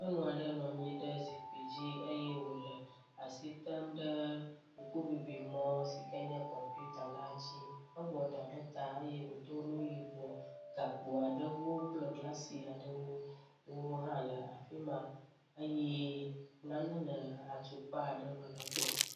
Nyɔnu aɖe nɔ anyi ɖe zikpui dzi eye wo le asi tem ɖe ŋkuŋuŋuimɔ si nye kɔmpita la dzi. Ewɔ ɖa ɖe ta eye wòdo nu yibɔ gakpo aɖewo kple glasi aɖewo hã le afi ma eye nane le atukpa aɖe me le egbɔ.